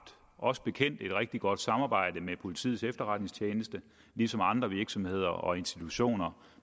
os bekendt et rigtig godt samarbejde med politiets efterretningstjeneste ligesom andre virksomheder og institutioner